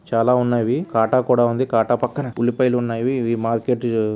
చాలా ఉన్నావి ఇవి కాటా కూడా ఉంది. కాటా పక్కన ఉల్లిపాయలు ఉన్నావి. ఇవి వి మార్కెట్--